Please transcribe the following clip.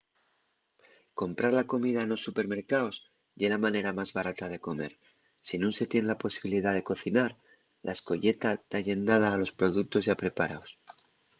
comprar la comida nos supermercaos ye la manera más barata de comer si nun se tien la posibilidá de cocinar la escoyeta ta llendada a los productos yá preparaos